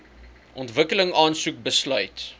ontwikkeling aansoek besluit